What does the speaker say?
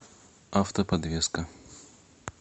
автоподвеска